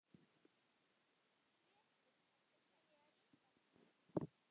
Breki: Ertu að selja rítalín?